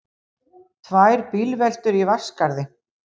Tvær bílveltur í Vatnsskarði